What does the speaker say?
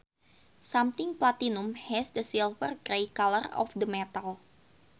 Something platinum has the silver grey color of the metal